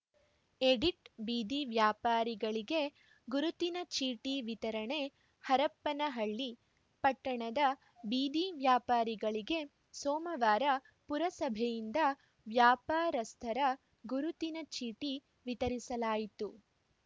edit ಬೀದಿ ವ್ಯಾಪಾರಿಗಳಿಗೆ ಗುರುತಿನ ಚೀಟಿ ವಿತರಣೆ ಹರಪನಹಳ್ಳಿ ಪಟ್ಟಣದ ಬೀದಿ ವ್ಯಾಪಾರಿಗಳಿಗೆ ಸೋಮವಾರ ಪುರಸಭೆಯಿಂದ ವ್ಯಾಪಾರಸ್ಥರ ಗುರುತಿನ ಚೀಟಿ ವಿತರಿಸಲಾಯಿತು